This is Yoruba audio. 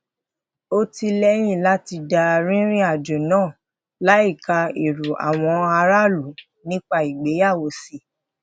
ó tí ì leyin lati da rìnrìn àjò naa láìka èrò àwọn aráàlú nípa ìgbéyàwó sí